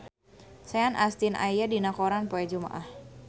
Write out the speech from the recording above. Sean Astin aya dina koran poe Jumaah